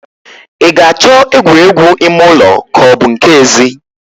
I ga-achọ egwuregwu ime ụlọ ka ọ bu nke ezi?